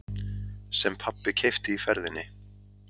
Sem pabbi keypti í ferðinni.